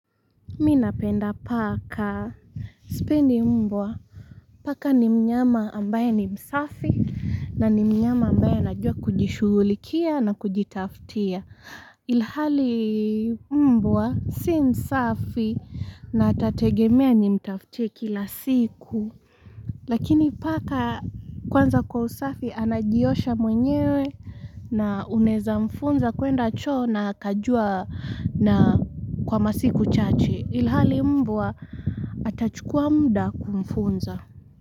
Mi napenda paka sipendi mbwa paka ni mnyama ambaye ni msafi na ni mnyama ambaye anajua kujishughulikia na kujitafutia ilhali mbwa si msafi na atategemea nimtaftie kila siku Lakini paka kwanza kwa usafi anajiosha mwenyewe na unaeza mfunza kuenda choo na akajua na kwa masiku chache. Ilhali mbwa atachukua muda kumfunza.